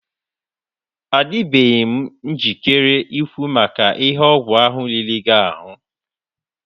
Adịbeghị m njikere ikwu maka ihe ọgwụ ahụ riri gị ahụ.